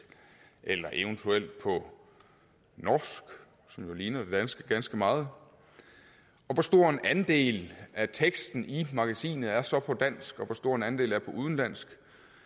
eller eventuelt på norsk som jo ligner det danske ganske meget og hvor stor en andel af teksten i magasinet er så på dansk og hvor stor en andel er på udenlandsk